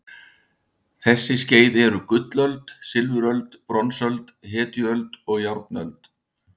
Þessi skeið eru gullöld, silfuröld, bronsöld, hetjuöld og járnöld.